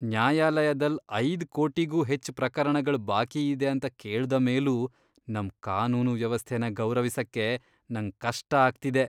ನ್ಯಾಯಾಲಯದಲ್ ಐದ್ ಕೋಟಿಗೂ ಹೆಚ್ ಪ್ರಕರಣಗಳ್ ಬಾಕಿ ಇದೆ ಅಂತ ಕೇಳ್ದ ಮೇಲೂ ನಮ್ ಕಾನೂನು ವ್ಯವಸ್ಥೆನ ಗೌರವಿಸಕ್ಕೆ ನಂಗ್ ಕಷ್ಟ ಆಗ್ತಿದೆ.